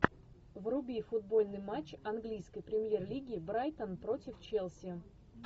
вруби футбольный матч английской премьер лиги брайтон против челси